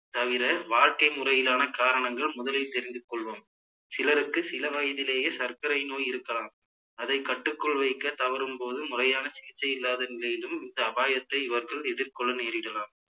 தவிர வாழ்க்கை முறையிலான காரணங்கள் முதலில் தெரிந்து கொள்வோம் சிலருக்கு சில வயதிலேயே சர்க்கரை நோய் இருக்கலாம் அதை கட்டுக்குள் வைக்க தவறும் போது முறையான சிகிச்சை இல்லாத நிலையிலும் இந்த அபாயத்தை இவர்கள் எதிர்கொள்ள நேரிடலாம்